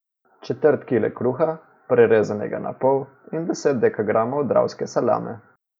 Četrt kile kruha, prerezanega na pol, in deset dekagramov dravske salame.